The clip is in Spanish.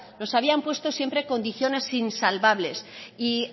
nos habían puesto siempre condiciones insalvables y